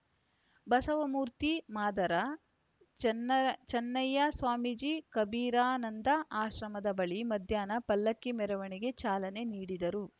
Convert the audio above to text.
ಬಸವಮೂರ್ತಿ ಮಾದಾರ ಚನ್ನ ಚನ್ನಯ್ಯಸ್ವಾಮೀಜಿ ಕಬೀರಾನಂದ ಆಶ್ರಮದ ಬಳಿ ಮಧ್ಯಾಹ್ನ ಪಲ್ಲಕ್ಕಿ ಮೆರವಣಿಗೆಗೆ ಚಾಲನೆ ನೀಡಿದರು